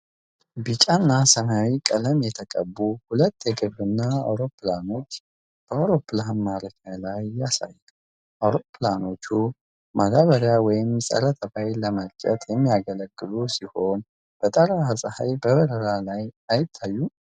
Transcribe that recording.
ቢጫ እና ሰማያዊ ቀለም የተቀቡ ሁለት የግብርና አውሮፕላኖችን በአውሮፕላን ማረፊያ ላይ ያሳያል። አውሮፕላኖቹ ማዳበሪያ ወይም ፀረ-ተባይ ለመርጨት የሚያገለግሉ ሲሆን፣ በጠራራ ፀሐይ በበረራ ላይ አይታዩም?